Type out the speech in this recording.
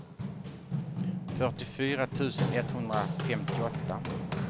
fyrtiofyra tusen etthundrafemtioåtta